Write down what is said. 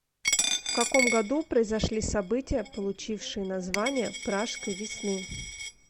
в каком году произошли события получившие название пражской весны